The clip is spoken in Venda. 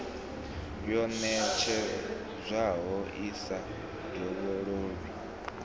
yo ṋetshedzwaho i sa dovhololi